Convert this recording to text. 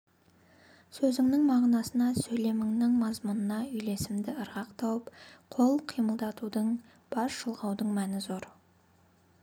сөзіңнің мағынасына сөйлеміңнің мазмұнына үйлесімді ырғақ тауып қол қимылдатудың бас шұлғаудың мәні зор